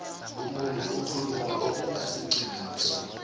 umuntu okhuluma okungasiqiniso